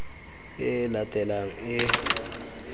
e e latelanang e e